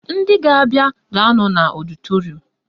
Ndị ga-abịa ga-anọ n'ọdịtorum